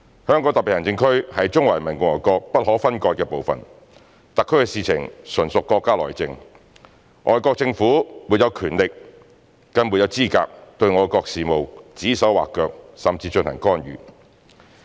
香港特別行政區是中華人民共和國不可分割的部分，特區的事情純屬國家內政，外國政府沒有權力，更沒有資格對我國事務指手劃腳甚至進行干預。